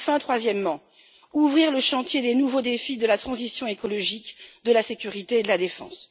Enfin, troisièmement, ouvrir le chantier des nouveaux défis de la transition écologique de la sécurité et de la défense.